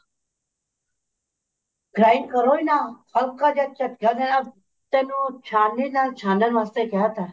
grind ਕਰੋ ਹੀ ਨਾ ਹਲਕਾ ਜਾ ਝਟਕਾ ਦੇਣਾ ਤੈਨੂੰ ਛਾਣਨੀ ਨਾ ਛਾਣਨ ਵਾਸਤੇ ਕਿਹ ਤਾ